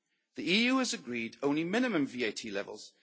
The EU has agreed only minimum VAT levels.